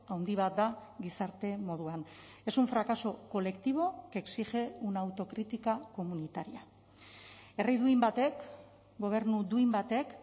handi bat da gizarte moduan es un fracaso colectivo que exige una autocrítica comunitaria herri duin batek gobernu duin batek